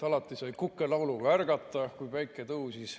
Alati sai kukelauluga ärgata, kui päike tõusis.